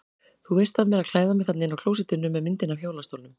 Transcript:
Þú veist af mér að klæða mig þarna inni á klósettinu með myndinni af hjólastólnum.